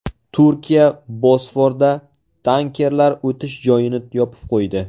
Turkiya Bosforda tankerlar o‘tish joyini yopib qo‘ydi.